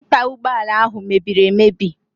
Waipa ụgbọala ahụ mebiri emebi.